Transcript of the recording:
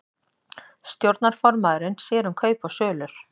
Stjórnarformaðurinn sér um kaup og sölur